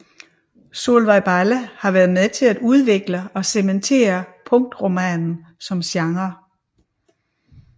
Solvej Balle været med til at udvikle og cementere punktromanen som genre